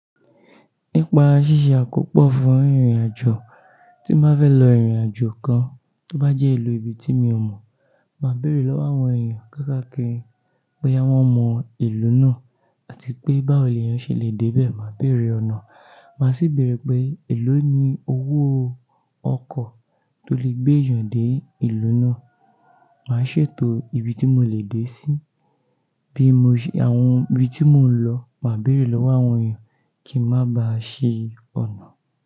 Nípa ṣíṣe àkópọ̀ fún ìrìnàjò, tí báfè lọ ìrìnàjò kan, tó bá jẹ́ ìlú ibi tí mi ò mọ̀, màá béèrè lọ́wọ́ àwọn èèyàn káàkiri pé, àwọn mọ ìlú náà àti pé báwo ni èèyàn ṣe le dé bẹ́ẹ̀. Màá béèrè ọ̀nà, màá sì béèrè pé, èló ni owó ọkọ̀ tó lè gbé èèyàn dé ìlú náà. Màá ṣètò ibi tí mò le dé sí, bí mo ṣe àwọn ibi tí mò ń lọ, màá béèrè lọ́wọ́ àwọn èèyàn kí má ba à ṣe ọ̀nà.